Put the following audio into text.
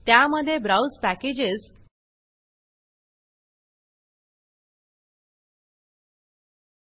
त्या मध्ये ब्राउज packagesब्राउज़ पॅकेजस